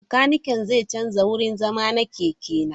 Makanikin zai canza wurin zama na keke na.